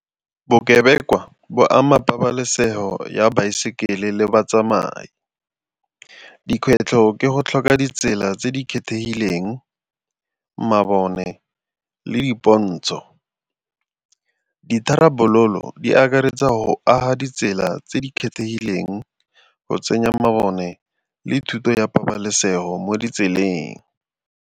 Bokebekwa bo ama pabalesego ya baesekele le batsamai. Dikgwetlho ke go tlhoka ditsela tse di kgethegileng, mabone le dipontsho. Ditharabololo di akaretsa go aga ditsela tse di kgethegileng go tsenya mabone le thuto ya pabalesego mo ditseleng.